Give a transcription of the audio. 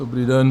Dobrý den.